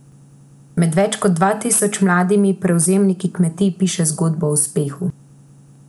Med več kot dva tisoč mladimi prevzemniki kmetij piše zgodbo o uspehu.